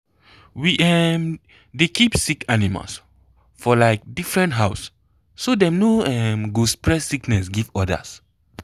we um dey keep sick animal for um different house so dem no um go spread sickness give others.